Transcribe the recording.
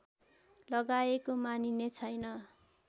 लगाएको मानिने छैन